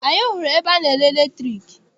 Anyị hụrụ ebe ana-ere latriki.